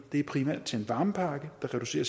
det er primært til en varmepakke der reducerer